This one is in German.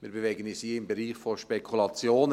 Wir bewegen uns hier im Bereich von Spekulationen.